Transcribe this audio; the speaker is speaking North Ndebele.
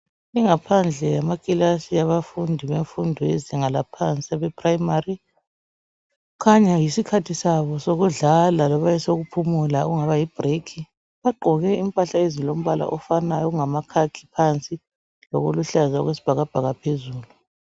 Ingaphandle yamakilasi yabefundi lezinga abe prayimari kukhanya yisikhathi sabo sokudlala loba esokuphumula okungaba yi bhurekhi bagqoke impahla ezilombala ofanayo okungama khakhi phansi lokuluhaza okwesibhakabhaka phezulu .